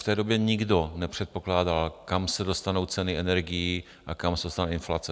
V té době nikdo nepředpokládal, kam se dostanou ceny energií a kam se dostane inflace.